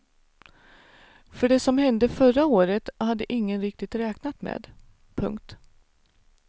För det som hände förra året hade ingen riktigt räknat med. punkt